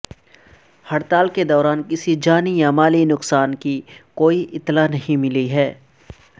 ہڑتال کے دوران کسی جانی یا مالی نقصان کی کوئی اطلاع نہیں ملی ہے